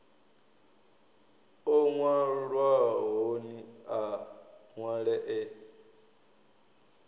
o nwalwahoni a nwale e